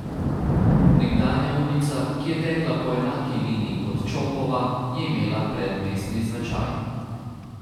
Nekdanja ulica, ki je tekla po enaki liniji kot Čopova, je imela predmestni značaj.